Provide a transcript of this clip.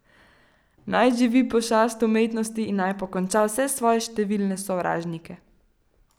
Naj živi pošast umetnosti in naj pokonča vse svoje številne sovražnike!